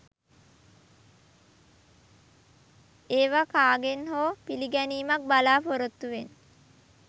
ඒවා කාගෙන් හෝ පිළිගැනීමක් බලාපොරොත්තුවෙන්